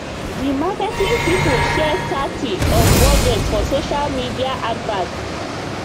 the marketing people share thirty of budget for social media adverts